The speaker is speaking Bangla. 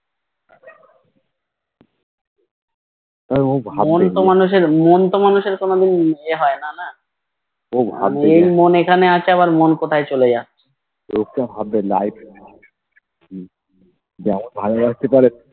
মন তো মানুষের মন তো মানুষের কোনো দিন ইয়ে হয় না না এখন মন এখানে আছে আবার মন কোথায় চলে যাচ্ছে